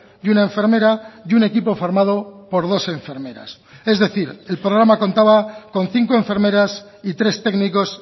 y una enfermera y un equipo formado por dos enfermeras es decir el programa contaba con cinco enfermeras y tres técnicos